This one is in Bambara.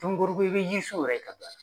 Tomikɔrɔbugu i bɛ yisuw yɛrɛ ye ka taa.